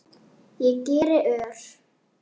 Ég geri ör